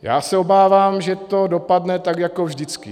Já se obávám, že to dopadne tak jako vždycky.